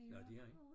Nåh det er han?